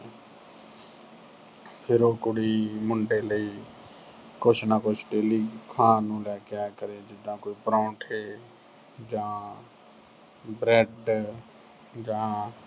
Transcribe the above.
ਫਿਰ ਉਹ ਕੁੜੀ ਮੁੰਡੇ ਲਈ ਕੁਝ ਨਾ ਕੁਝ daily ਖਾਣ ਨੂੰ ਲੈ ਕੇ ਆਇਆ ਕਰੇ ਜਿਦਾਂ ਕੋਈ ਪਰਾਂਠੇ ਜਾਂ bread ਜਾਂ